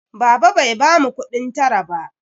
Baba bai bamu kuɗin tara ba.